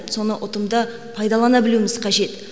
соны ұтымды пайдалана білуіміз қажет